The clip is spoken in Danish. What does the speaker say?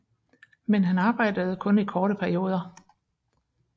Men han arbejdede kun i korte perioder